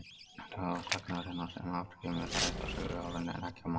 Tala sagnarinnar, sem á eftir kemur, ræðst af töluorðinu en ekki af manns.